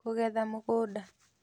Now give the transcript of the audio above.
Kũgetha Mũgũnda